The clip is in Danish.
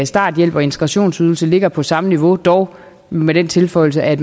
starthjælpen og integrationsydelsen ligger på samme niveau dog med den tilføjelse at